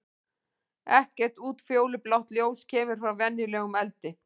Ekkert útfjólublátt ljós kemur frá venjulegum eldi.